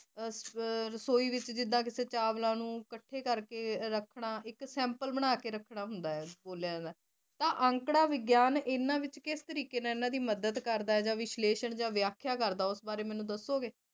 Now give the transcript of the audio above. ਰਸੋਈ ਵਿੱਚ ਜਿਦਾ ਕਿਸੇ ਚਾਵਲਾ ਨੂੰ ਇਕੱਠੇ ਕਰਕੇ ਰੱਖਣਾ ਇਕ ਸੈਂਪਲ ਬਣਾ ਕਿ ਬੋਲਿਆ ਜਾਂਦਾ ਤਾਂ ਅੰਕੜਾ ਵਿਗਿਆਨ ਕਿਸ ਤਰੀਕੇ ਨਾਲ ਇਨਾਂ ਦੀ ਮਦੱਦ ਕਰਦਾ ਜਾ ਵਿਸ਼ਲੇਸ਼ਣ ਜਾ ਵਿਆਖਿਆ ਕਰਦਾ ਮੈਨੂੰ ਦੱਸੋਗੇ